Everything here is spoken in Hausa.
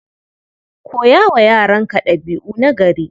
Koya wa yaranka ɗabi'u nagari.